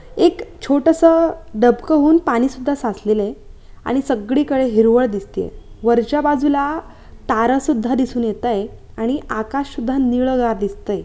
एक छोटसं डबकंहुन पाणी सुद्धा साचलेलं आहे आणि सगळी कडे हिरवळ दिसतीये वरच्या बाजूला तारा सुद्धा दिसून येतय आणि आकाश सुद्धा नीळगार दिसतय.